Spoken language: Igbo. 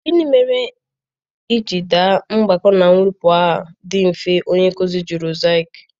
Gịnị mere i ji daa mgbakọ na mwepụ a dị mfe, onye nkụzi jụrụ Zaki?